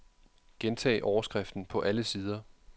Gentag overskriften på alle sider.